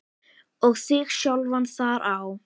og þig sjálfan þar á.